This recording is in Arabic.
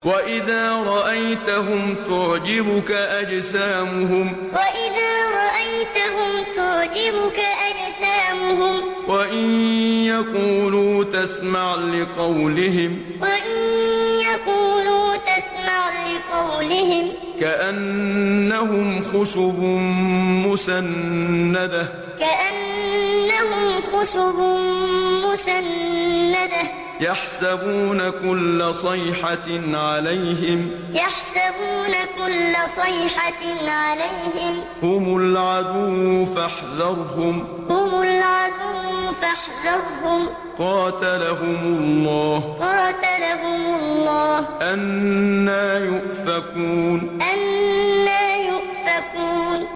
۞ وَإِذَا رَأَيْتَهُمْ تُعْجِبُكَ أَجْسَامُهُمْ ۖ وَإِن يَقُولُوا تَسْمَعْ لِقَوْلِهِمْ ۖ كَأَنَّهُمْ خُشُبٌ مُّسَنَّدَةٌ ۖ يَحْسَبُونَ كُلَّ صَيْحَةٍ عَلَيْهِمْ ۚ هُمُ الْعَدُوُّ فَاحْذَرْهُمْ ۚ قَاتَلَهُمُ اللَّهُ ۖ أَنَّىٰ يُؤْفَكُونَ ۞ وَإِذَا رَأَيْتَهُمْ تُعْجِبُكَ أَجْسَامُهُمْ ۖ وَإِن يَقُولُوا تَسْمَعْ لِقَوْلِهِمْ ۖ كَأَنَّهُمْ خُشُبٌ مُّسَنَّدَةٌ ۖ يَحْسَبُونَ كُلَّ صَيْحَةٍ عَلَيْهِمْ ۚ هُمُ الْعَدُوُّ فَاحْذَرْهُمْ ۚ قَاتَلَهُمُ اللَّهُ ۖ أَنَّىٰ يُؤْفَكُونَ